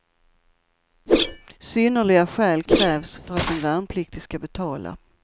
Synnerliga skäl krävs för att en värnpliktig ska betala.